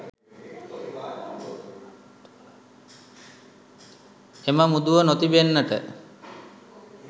එම මුදුව නොතිබෙන්නට